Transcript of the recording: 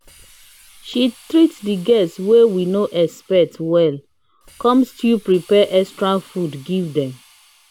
she treat de guests wey we no expect wellcomes still prep extra food give dem